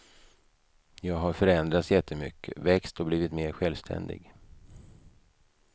Jag har förändrats jättemycket, växt och blivit mer självständig.